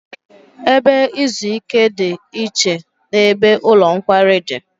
Ebe izu ike dị iche n'ebe ụlọ nkwari dị